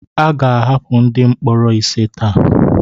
A ga-ahapụ ndị mkpọrọ ise taa.